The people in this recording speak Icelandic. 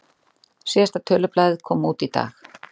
Síðasta tölublaðið kom út í dag